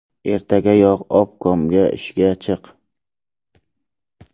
Ertagayoq obkomga ishga chiq.